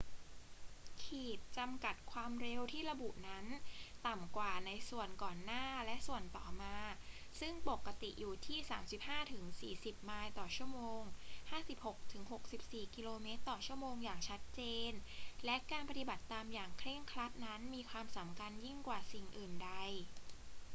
ขีดจำกัดความเร็วที่ระบุนั้นต่ำกว่าในส่วนก่อนหน้าและส่วนต่อมาซึ่งปกติอยู่ที่ 35-40 ไมล์/ชม. 56-64 กม./ชม. อย่างชัดเจน และการปฏิบัติตามอย่างเคร่งครัดนั้นมีความสำคัญยิ่งกว่าสิ่งอื่นใด